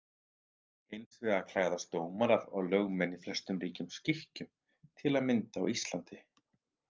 Hins vegar klæðast dómarar og lögmenn í flestum ríkjum skikkjum, til að mynda á Íslandi.